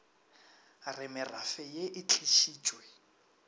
re merafe ye e tlišitšwe